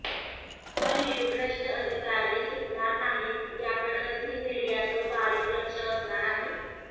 पण हे भ्रष्ट अधिकारी सुटणार नाहीत याकडं झी मिडियाचं बारीक लक्ष असणार आहे